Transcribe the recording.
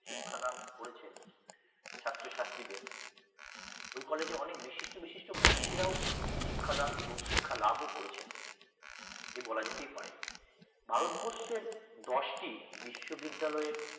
শিক্ষাদান করেছেন ছাত্র-ছাত্রীদের ওই কলেজেও অনেক বিশিষ্ট বিশিষ্ট মনীষী রাও শিক্ষাদান এবং শিক্ষার লাভ ও করেছেন যে বলা যেতেই পারে ভারতবর্ষের দশটি বিশ্ববিদ্যালয়ের